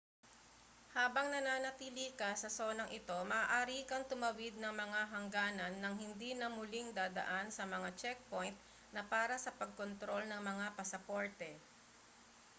habang nananatili ka sa sonang ito maaari kang tumawid ng mga hangganan nang hindi na muling dadaan sa mga checkpoint na para sa pagkontrol ng mga pasaporte